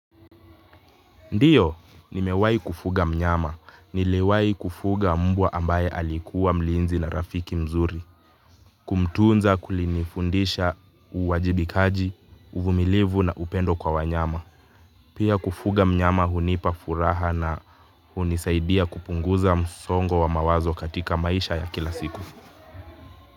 Ndiyo, nimewahi kufuga mnyama. Niliwahi kufuga mbwa ambaye alikuwa mlinzi na rafiki mzuri. Kumtunza kulinifundisha uwajibikaji, uvumilivu na upendo kwa wanyama. Pia kufuga mnyama hunipa furaha na hunisaidia kupunguza msongo wa mawazo katika maisha ya kila siku.